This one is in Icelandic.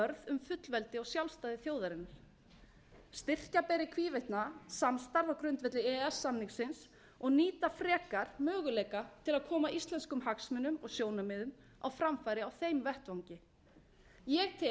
um fullveldi og sjálfstæði þjóðarinnar styrkja beri í hvívetna samstarf á grundvelli e e s samningsins og nýta frekar möguleika til að koma íslenskum hagsmunum og sjónarmiðum á framfæri á þeim vettvangi ég tel